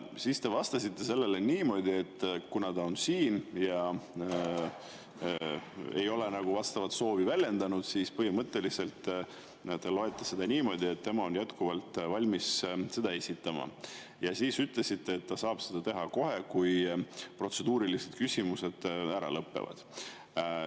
Siis te vastasite niimoodi, et kuna ta on siin ja ei ole vastavat soovi väljendanud, siis põhimõtteliselt te seda niimoodi, et tema on jätkuvalt valmis seda esitama, ja ütlesite, et ta saab seda teha kohe, kui protseduurilised küsimused ära lõpevad.